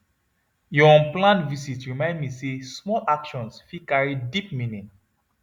your unplanned visit remind me say small actions fit carry deep meaning